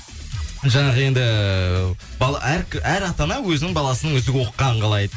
жаңағы енді әр ата ана өзінің баласын үздік оқығанын қалайды